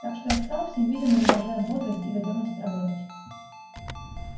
так что я встал всем видом изображая бодрость и готовность работать